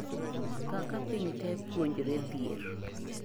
kaka pinyte puonjre dhier